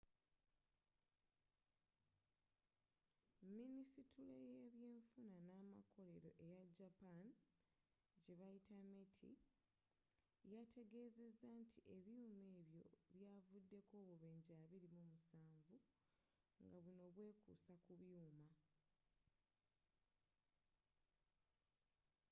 minisitule y’ebyenfuna n’amakolero eya japan meti yategezezza nti ebyuma ebyo byavuddeko obubenjje 27 nga buno bwekuusa ku byuma